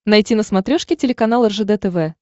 найти на смотрешке телеканал ржд тв